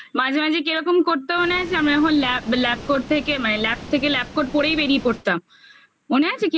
মাঝে মাঝে কিরকম করতো মনে আছে আমি যখন lab করতে গিয়ে মানে lab থেকে lab court পরেই বেরিয়ে পড়তাম মনে আছে?